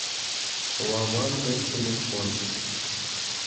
лаванда телефон